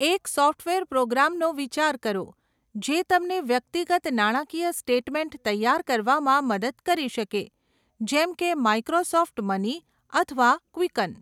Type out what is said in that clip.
એક સોફ્ટવેર પ્રોગ્રામનો વિચાર કરો, જે તમને વ્યક્તિગત નાણાકીય સ્ટેટમેન્ટ તૈયાર કરવામાં મદદ કરી શકે, જેમ કે માઈક્રોસોફ્ટ મની અથવા ક્વિકન.